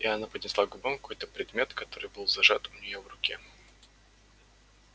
и она поднесла к губам какой-то предмет который был зажат у нее в руке